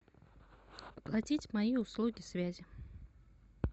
оплатить мои услуги связи